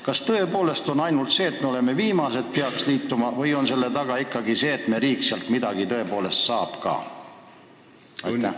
Kas tõepoolest on ainult see põhjus või on selle soovi taga ikkagi ka see, et meie riik sealt midagi tõepoolest saab ka?